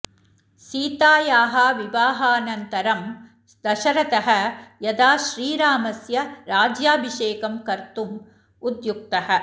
सीतायाः विवाहानन्तरं दशरथः यदा श्रीरामस्य राज्याभिषेकं कर्तुम् उद्युक्तः